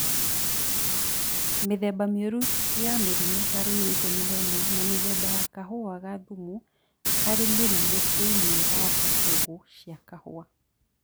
Mĩthemba mĩũru ya mĩrimũ ta Ruiru 11 na mĩthemba ya kahũa ga thumu harĩ mĩrimũ thĩinĩ wa mbegũ cia kahũa